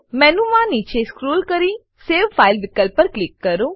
menu માં નીચે scroll કરીને સવે ફાઇલ વિકલ્પ પર ક્લિક કરો